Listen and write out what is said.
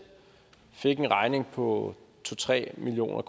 fik en regning på to tre million